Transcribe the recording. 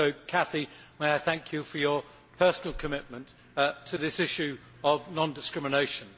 Cathy, may I also thank you for your personal committment to this issue of non discrimination.